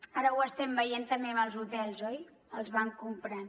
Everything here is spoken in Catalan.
ara ho estem veient també amb els hotels oi els van comprant